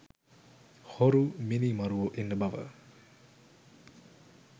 හොරු මිනීමරුවො ඉන්න බව